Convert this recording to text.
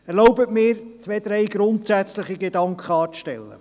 Erlauben Sie mir zwei, drei grundsätzliche Gedanken anzustellen.